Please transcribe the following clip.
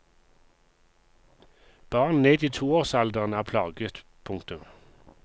Barn ned i toårsalderen er plaget. punktum